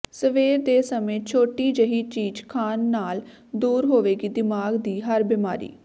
ਸਵੇਰ ਦੇ ਸਮੇਂ ਛੋਟੀ ਜਿਹੀ ਚੀਜ਼ ਖਾਣ ਨਾਲ ਦੂਰ ਹੋਵੇਗੀ ਦਿਮਾਗ ਦੀ ਹਰ ਬੀਮਾਰੀ